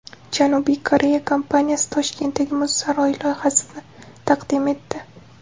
Janubiy Koreya kompaniyasi Toshkentdagi muz saroyi loyihasini taqdim etdi .